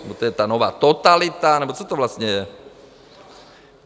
No, to je ta nová totalita... nebo co to vlastně je?